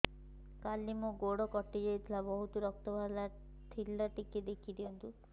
କାଲି ମୋ ଗୋଡ଼ କଟି ଯାଇଥିଲା ବହୁତ ରକ୍ତ ବାହାରି ଥିଲା ଟିକେ ଦେଖି ଦିଅନ୍ତୁ